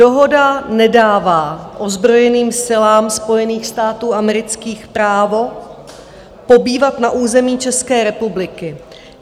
Dohoda nedává ozbrojeným silám Spojených států amerických právo pobývat na území České republiky.